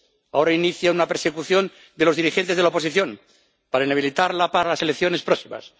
Ahora inicia una persecución de los dirigentes de la oposición para inhabilitarla para las elecciones próximas.